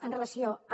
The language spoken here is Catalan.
amb relació a